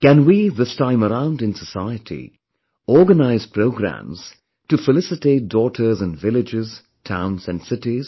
Can we, this time around in society, organize programmes to felicitate daughters in villages, towns and cities